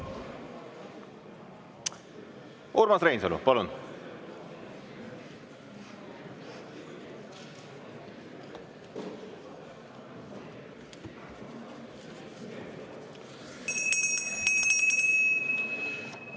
Urmas Reinsalu, palun!